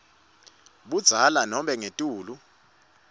budzala nobe ngetulu